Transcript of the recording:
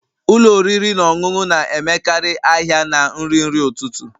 Ụlọ oriri na ọṅụṅụ na-emekarị ahịa na nri nri ụtụtụ